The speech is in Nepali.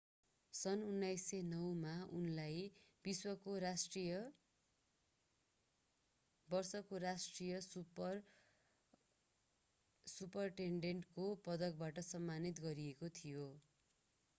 सन् 2009 मा उनलाई वर्षको राष्ट्रिय सुपरिटेन्डेन्टको पदकबाट सम्मानित गरिएको थियो